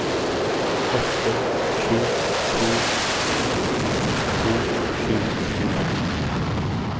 åtte sju to en sekstito sju hundre og tjuefem